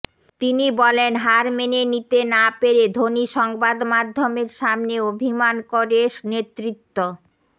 তিনি বলেন হার মেনে নিতে না পেরে ধোনি সংবাদ মাধ্যমের সামনে অভিমান করে নেতৃত্ব